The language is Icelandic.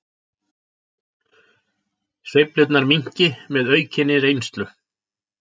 Sveiflurnar minnki með aukinni reynslu